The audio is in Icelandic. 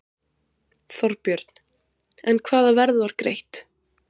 Þorbjörn: En hvaða verð var greitt?